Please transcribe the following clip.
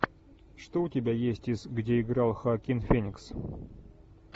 что у тебя есть из где играл хоакин феникс